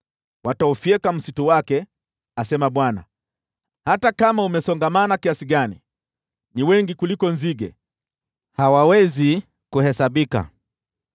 Wataufyeka msitu wake,” asema Bwana , “hata kama umesongamana kiasi gani. Ni wengi kuliko nzige, hawawezi kuhesabika.